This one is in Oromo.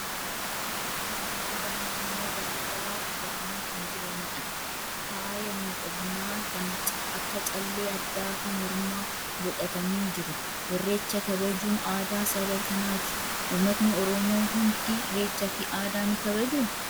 Uffata aadaa naannoo garaa garaa uffatanii kan jiranidha. Faaya miidhaginaa kan akka callee addaa fi mormaa godhatanii jiru. Irreecha kabajuun aadaa saba kanaati. Uummatni Oromoo hundi irreechaa fi aadaa ni kabajuu?